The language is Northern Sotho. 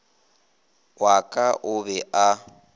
wa ka o be a